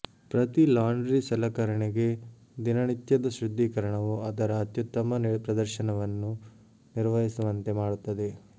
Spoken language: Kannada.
ಪ್ರತಿ ಲಾಂಡ್ರಿ ಸಲಕರಣೆಗೆ ದಿನನಿತ್ಯದ ಶುದ್ಧೀಕರಣವು ಅದರ ಅತ್ಯುತ್ತಮ ಪ್ರದರ್ಶನವನ್ನು ನಿರ್ವಹಿಸುವಂತೆ ಮಾಡುತ್ತದೆ